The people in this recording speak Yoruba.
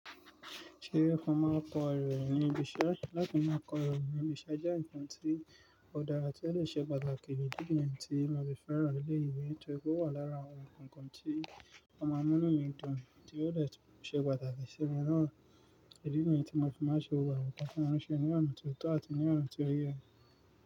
Ṣé ìfọma kọ ẹrọ ìrìnnà ibi iṣẹ́ láti máa kọ ẹrọ ìrìnnà ibi iṣẹ́ jẹ́ nǹkan tí ó dára tí ó lè ṣe pàtàkì jù díẹ̀ tí máa fi fẹ́ran ilé ìwé tọ́. Ó wà lára àwọn nǹkan tí wọ́n máa ń mú nínú ìdun tí ó lè ṣe pàtàkì sí ẹni náà. Idí nìyẹn tí mo fi máa ṣe gbogbo àwọn nǹkan ti wọ̀n ṣe ní ọ̀nà tó tọ́ àti ní ọ̀nà tí ó yẹ.